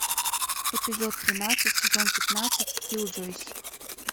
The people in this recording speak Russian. эпизод тринадцать сезон пятнадцать киллджойс